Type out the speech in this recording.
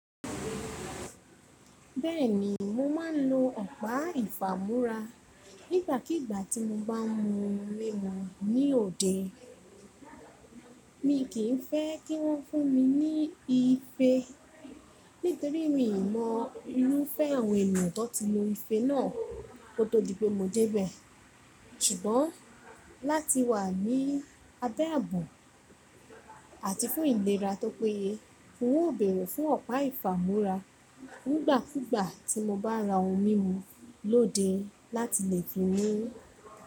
Bẹ́ẹ̀ni, mo máa ń lo ọ̀pá ìfamora nígbàkígbà tí mo bá ń mu omi mu ní òde. Mi kì í fẹ́ kí wọ́n fún mi ní ife nítorí mi ì mọ irúfẹ́ àwọn ènìyàn tó ti lo ife náà kó tó di pé mo jẹ́ bẹ̀. Sùgbọ́n láti wà ní abẹ́ àbo àti fún ìlera tó péye, n ó bèrè fún ọ̀pá ìfamúra nígbàkúgbà tí mo bá ra omi mu lóde láti lè fi mú.